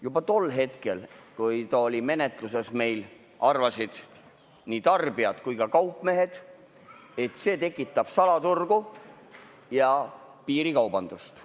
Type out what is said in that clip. Juba tol hetkel, kui see oli meil menetluses, arvasid nii tarbijad kui ka kaupmehed, et see tekitab salaturgu ja piirikaubandust.